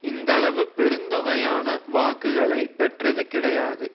இந்தளவு பெருந்தொகையான வாக்குகளை பெற்றது கிடையாது